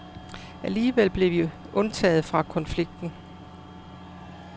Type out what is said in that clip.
Alligevel blev vi undtaget fra konflikten.